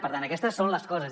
per tant aquestes són les coses